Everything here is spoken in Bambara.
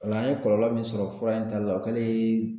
Ola an ye kɔlɔlɔ min sɔrɔ fura in tali la o kɛlen.